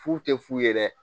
Fu tɛ f'u ye dɛ